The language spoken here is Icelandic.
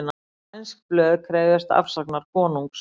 Sænsk blöð krefjast afsagnar konungs